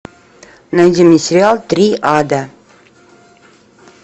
найди мне сериал триада